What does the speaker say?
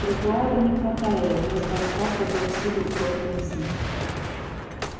тротуары не протаяли вместо асфальта был всюду утоптанный снег